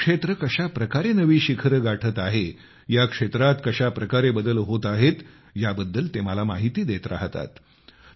कृषी क्षेत्र कशा प्रकारे नवी शिखरे गाठत आहेया क्षेत्रात कशा प्रकारे बदल होत आहेत याबद्दल ते मला माहिती देत राहतात